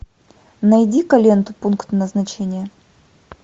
найди ка ленту пункт назначения